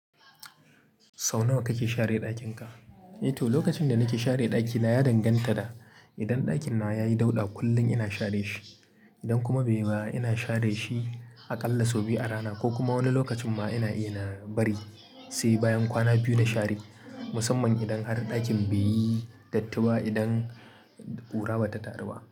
Sau nawa kake share ɗakin ka? Eto, lokacin da nake share ɗaki na ya danganta da, idan ɗakin nawa yayi dauɗa kullum ina share shi. Idan kuma bai ba ina share shi aƙalla sau biyu a rana ko kuma wani lokacin ma ina iya na bari sai bayan kwana biyu na share, musamman idan har ɗakin bai yi datti, idan ƙura bata taru ba.